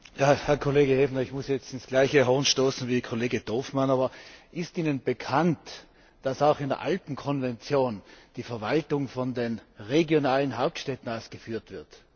Herr Kollege Häfner, ich muss jetzt in dasselbe Horn stoßen wie Kollege Dorfmann, aber ist Ihnen bekannt, dass auch in der Alpenkonvention die Verwaltung von den regionalen Hauptstädten aus geführt wird?